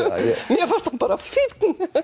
mér fannst hann bara fínn